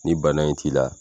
Ni bana in t'i la